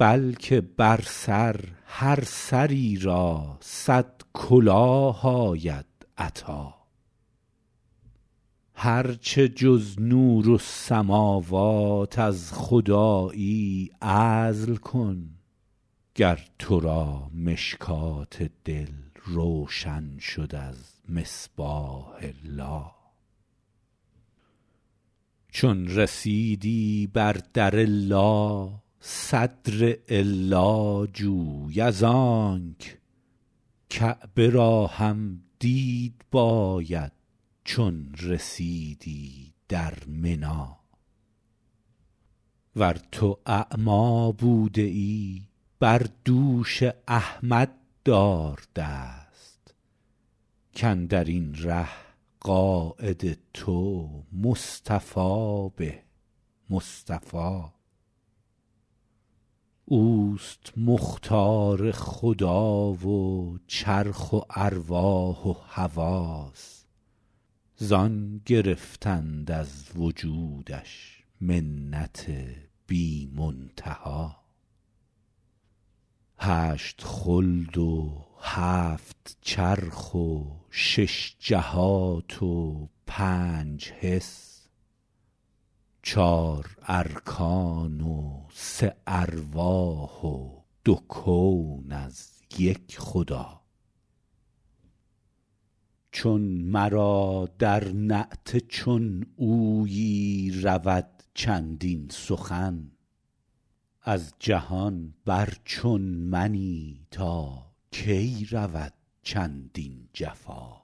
بلکه بر سر هر سری را صد کلاه آید عطا هرچه جز نورالسموات از خدایی عزل کن گر تو را مشکوة دل روشن شد از مصباح لا چون رسیدی بر در لا صدر الا جوی از آنک کعبه را هم دید باید چون رسیدی در منا ور تو اعمی بوده ای بر دوش احمد دار دست که اندر این ره قاید تو مصطفی به مصطفا اوست مختار خدا و چرخ و ارواح و حواس زان گرفتند از وجودش منت بی منتها هشت خلد و هفت چرخ و شش جهات و پنج حس چار ارکان و سه ارواح و دو کون از یک خدا چون مرا در نعت چون اویی رود چندین سخن از جهان بر چون منی تا کی رود چندین جفا